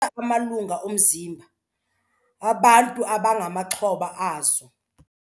Amalungu omzimba abantu abangamaxhoba azo.